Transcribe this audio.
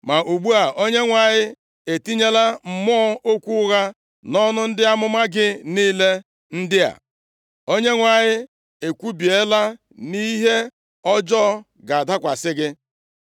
“Ma ugbu a, Onyenwe anyị etinyela mmụọ okwu ụgha nʼọnụ ndị amụma gị niile ndị a. Onyenwe anyị ekwubiela nʼihe ọjọọ ga-adakwasị gị.”